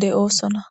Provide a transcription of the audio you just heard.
de7oosonna